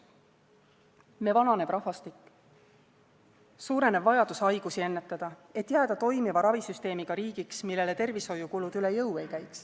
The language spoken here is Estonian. Me vananev rahvastik, suurenev vajadus haigusi ennetada, et jääda toimiva ravisüsteemiga riigiks, millele tervishoiukulud üle jõu ei käiks.